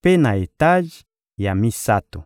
mpe na etaje ya misato.